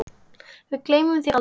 Við gleymum þér aldrei.